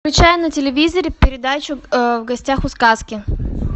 включай на телевизоре передачу в гостях у сказки